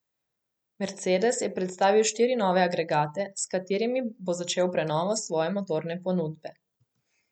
Mercedes je predstavil štiri nove agregate, s katerimi bo začel prenovo svoje motorne ponudbe.